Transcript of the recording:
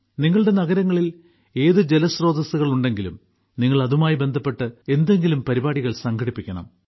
നിങ്ങളുടെ നഗരങ്ങളിൽ ഏത് ജലസ്രോതസ്സുകളുണ്ടെങ്കിലും നിങ്ങൾ അതുമായി ബന്ധപ്പെട്ട് എന്തെങ്കിലും പരിപാടികൾ സംഘടിപ്പിക്കണം